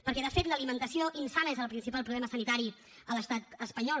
perquè de fet l’alimentació insana és el principal problema sanitari a l’estat espanyol